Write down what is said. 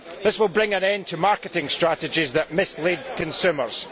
This will bring an end to marketing strategies that mislead consumers.